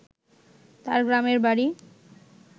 তার গ্রামের বাড়ি